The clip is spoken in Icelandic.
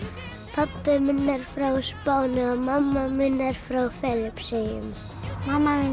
pabbi minn er frá Spáni og mamma mín er frá Filippseyjum mamma mín